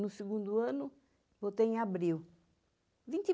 No segundo ano, voltei em abril.